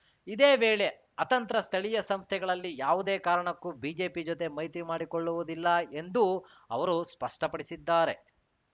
ಇದೇ ವೇಳೆ ಅತಂತ್ರ ಸ್ಥಳೀಯ ಸಂಸ್ಥೆಗಳಲ್ಲಿ ಯಾವುದೇ ಕಾರಣಕ್ಕೂ ಬಿಜೆಪಿ ಜೊತೆ ಮೈತ್ರಿ ಮಾಡಿಕೊಳ್ಳುವುದಿಲ್ಲ ಎಂದೂ ಅವರು ಸ್ಪಷ್ಟಪಡಿಸಿದ್ದಾರೆ